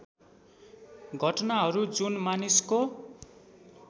घटनाहरू जुन मानिसको